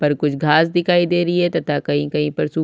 पर कुछ घास दिखाई दे रही है तथा कहीं-कहीं पर सुखी वी--